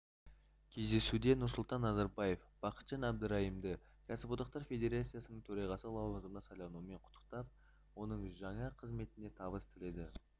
кездесуде нұрсұлтан назарбаев бақытжан әбдірайымды кәсіподақтар федерациясының төрағасы лауазымына сайлануымен құттықтап оның жаңа қызметіне табыс тіледі